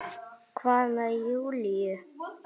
Hvað með Júlíu?